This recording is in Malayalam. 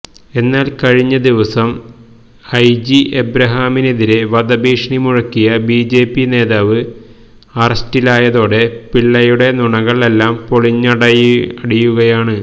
എന്നാല് കഴിഞ്ഞ ദിവസം ഐജി എബ്രഹാമിനെതിരെ വധഭീഷണി മുഴക്കിയ ബിജെപി നേതാവ് അറസ്റ്റിലായതോടെ പിള്ളയുടെ നുണകള് എല്ലാം പൊളിഞ്ഞടിയുകയാണ്